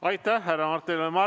Aitäh, härra Mart Helme!